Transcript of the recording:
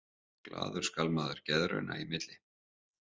Glaður skal maður geðrauna í milli.